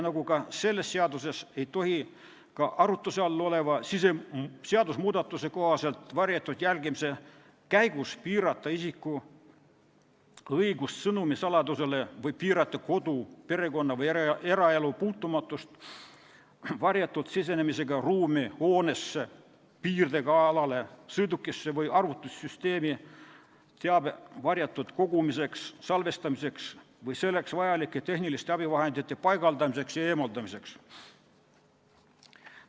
Nagu ka selles seaduses, ei tohi arutluse all oleva seadusmuudatuse kohaselt varjatud jälgimise käigus piirata isiku õigust sõnumi saladusele või piirata kodu, perekonna- või eraelu puutumatust varjatud sisenemisega ruumi, hoonesse, piirdega alale, sõidukisse või arvutisüsteemi teabe varjatud kogumiseks, salvestamiseks või selleks vajalike tehniliste abivahendite paigaldamiseks ja eemaldamiseks.